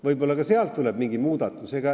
Võib-olla ka sealt tuleb mingi muudatus.